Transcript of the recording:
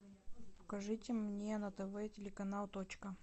покажите мне на тв телеканал точка